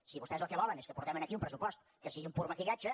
si vostès el que volen és que portem aquí un pressupost que sigui un pur maquillatge